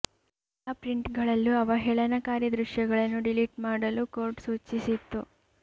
ಎಲ್ಲಾ ಪ್ರಿಂಟ್ ಗಳಲ್ಲೂ ಅವಹೇಳನಕಾರಿ ದೃಶ್ಯಗಳನ್ನು ಡಿಲಿಟ್ ಮಾಡಲು ಕೋರ್ಟ್ ಸೂಚಿಸಿತ್ತು